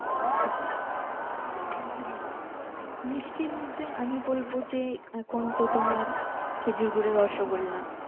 মিষ্টির মধ্যে আমি বলবো যে এখন তো তোমার খেজুর গুড়ের রসগোল্লা